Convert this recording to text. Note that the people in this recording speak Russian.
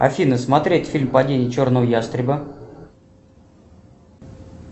афина смотреть фильм падение черного ястреба